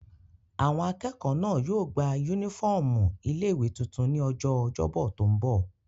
Àwọn akẹ́kọ̀ọ́ náà yóò gba yúnífọ́ọ̀mù ilé-ìwé tuntun ní ọjọ́ ọjọ́bọ̀ tó n bọ̀